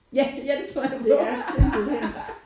Ja ja det tror jeg gerne på